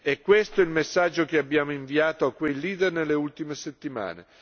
È questo il messaggio che abbiamo inviato a quei leader nelle ultime settimane.